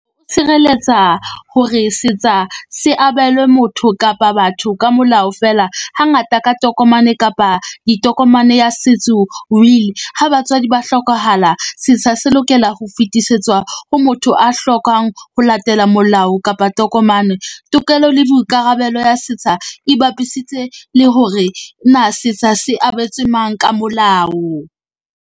Tshireletsa hore setsa se abelwe motho kapa batho ka molao feela. Hangata ka tokomane kapa ditokomane ya setso, will. Ha batswadi ba hlokahala, setsha se lokela ho fetisetswa ho motho a hlokang ho latela molao kapa tokomane. Tokelo le boikarabelo ya setsha e bapisitse le hore na setsha se abetse mang ka molao.